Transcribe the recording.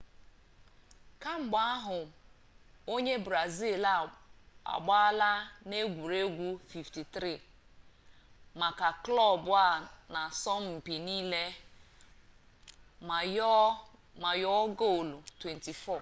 kemgbe ahụ onye brazil a agbaala n'egwuregwu 53 maka klọb a n'asọmpi niile ma yọọ gol 24